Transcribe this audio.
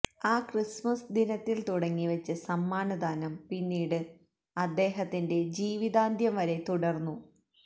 ആ ക്രിസ്മസ് ദിനത്തില് തുടങ്ങിവെച്ച സമ്മാനദാനം പിന്നീട് അദ്ദേഹത്തിന്റെ ജീവിതാന്ത്യം വരെ തുടര്ന്നു